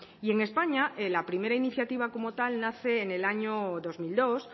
y en españa la primera iniciativa como tal nace en el año dos mil dos